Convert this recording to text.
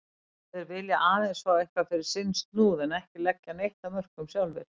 Þeir vilja aðeins fá eitthvað fyrir sinn snúð en ekki leggja neitt af mörkum sjálfir.